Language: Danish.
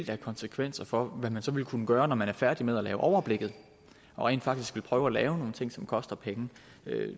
have konsekvenser for hvad man så vil kunne gøre når man er færdig med at overblikket og rent faktisk vil prøve at lave nogle ting som koster penge